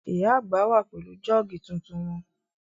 Ìyá àgbà wà pẹ̀lú jọ́ọ̀gì tuntun wọn